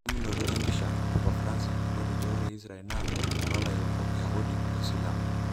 Elimunoto empisha, Papa Francis ,lotejo ore Israel na enolairukok, Yahudi o Silamu.